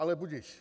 Ale budiž.